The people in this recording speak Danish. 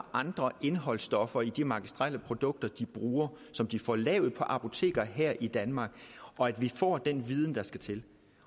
andre indholdsstoffer i de magistrelle produkter de bruger som de får lavet på apoteker her i danmark og at vi får den viden der skal til